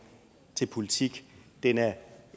til politik den er